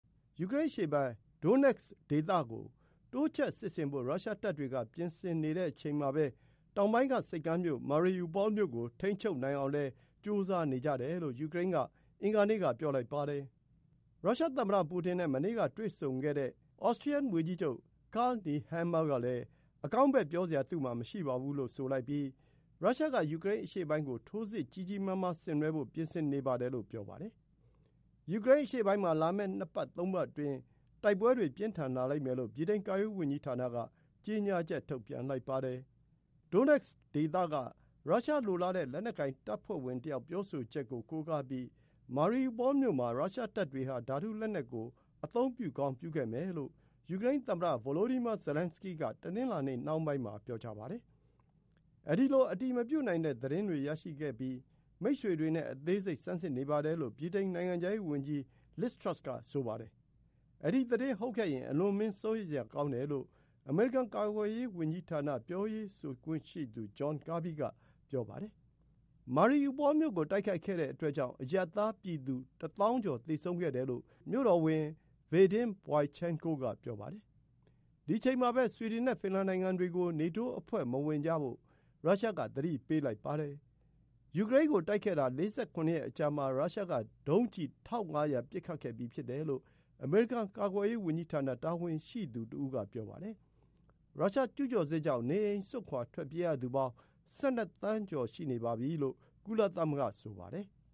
ယူကရိန်းအရှေ့ပိုင်း Donetsk ဒေသကို တိုးချဲ့စစ်ဆင်ဖို့ ရုရှားတပ်တွေက ပြင်ဆင်နေတဲ့အချိန်မှာပဲ တောင်ပိုင်းက ဆိပ်ကမ်းမြို့ Mariupol မြို့ကို ထိန်းချုပ်နိုင်အောင်လည်း ကြိုးစားနေကြတယ်လို့ ယူကရိန်းက အင်္ဂါနေ့က ပြောလိုက်ပါတယ်။ ရုရှားသမ္မတပူတင်နဲ့ မနေ့က တွေ့ခဲ့တဲ့ Austrian ဝန်ကြီးချုပ် Karl Nehammer ကလည်း အကောင်းဘက်ပြောစရာ သူ့မှာ မရှိပါဘူးလို့ဆိုလိုက်ပြီး ရုရှားက ယူကရိန်းအရှေ့ပိုင်းကို ထိုးစစ် ကြီးကြီးမားမားဆင်နွှဲဖို့ ပြင်ဆင်နေပါတယ်လို့ ပြောပါတယ်။ ယူကရိန်းအရှေ့ပိုင်းမှာ လာမယ့် ၂ ပတ် ၃ ပတ်အတွင်း တိုက်ပွဲတွေ ပြင်းထန်လာလိမ့်မယ်လို့ ဗြိတိန်ကာကွယ်ရေးဝန်ကြီးဌာနက ကြေညာချက် ထုတ်ပြန်လိုက်ပါတယ်။ Donetsk ဒေသက ရုရှားလိုလားတဲ့ လက်နက်ကိုင်တပ်ဖွဲ့ဝင်တယောက် ပြောဆိုချက်ကို ကိုးကားပြီး Mariupol မြို့မှာ ရုရှားတပ်တွေဟာ ဓာတုလက်နက်ကို အသုံးပြုကောင်း ပြုခဲ့မယ်လို့ ယူကရိန်းသမ္မတ Volodymyr Zelenskyy က ပြောပါတယ်။ အဲဒီလို အတည်မပြုနိုင်တဲ့ သတင်းတွေရရှိခဲ့ပြီး မိတ်ဘက်တွေနဲ့ အသေးစိတ်ဆန်းစစ်နေပါတယ်လို့ ဗြိတိန် နိုင်ငံခြားရေး ဝန်ကြီး Liz Truss က ပြောပါတယ်။ အဲဒီသတင်းဟုတ်ခဲ့ရင် အလွန်အမင်း စိုးရိမ်စရာကောင်းတယ်လို့ အမေရိကန်ကာကွယ်ရေး ဝန်ကြီးဌာန ပြောရေးဆိုခွင့်ရှိသူ John Kirby က ဆိုပါတယ်။ Mariupol မြို့ကို တိုက်ခိုက်ခဲ့တဲ့အတွက်ကြောင့် အရပ်သား ပြည်သူတသောင်းကျော် သေဆုံးခဲ့တယ်လို့ မြို့တော်ဝန် Vadym Boychenko က ပြောပါတယ်။ ဒီ အချိန်မှာပဲ ဆွီဒင်နဲ့ ဖင်လန်နိုငံတွေကို နေတိုး အဖွဲ့မဝင်ကြဖို့ ရုရှားက သတိပေးလိုက်ပါတယ်။ ယူကရိန်းကို တိုက်ခဲ့တာ ၄၇ ရက်အကြာမှာ ရုရှားက ဒုံးကျည် ၁,၅၀၀ ပစ်ခတ်ခဲ့ပြီး ဖြစ်တယ်လို့ အမေရိကန် ကာကွယ်ရေးဝန်ကြီးဌာန တာဝန်ရှိသူတဦးက ပြောပါတယ်။ ရုရှား ကျူးကျော်စစ်ကြောင့် နေအိမ်စွန့်ခွါ ထွက်ပြေးရသူပေါင်း ၁၁ သန်းကျော် ရှိနေတယ် လို့ ကုလသမဂ္ဂက ဆိုပါတယ်။